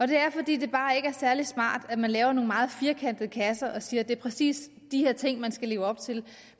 det er fordi det bare ikke er særlig smart at vi laver nogle meget firkantede kasser og siger at det præcis er de her ting man skal leve op til